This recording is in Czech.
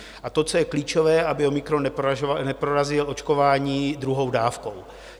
A to, co je klíčové, aby omikron neprorazil očkování druhou dávkou.